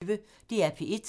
DR P1